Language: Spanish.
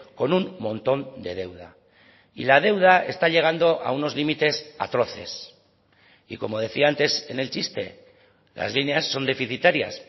con un montón de deuda y la deuda está llegando a unos límites atroces y como decía antes en el chiste las líneas son deficitarias